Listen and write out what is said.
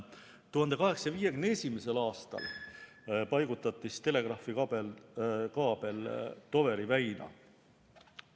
1851. aastal paigutati telegraafikaabel Toweri väina.